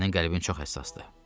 Sənin qəlbin çox həssasdır.